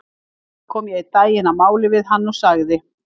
Samt kom ég einn daginn að máli við hann og sagði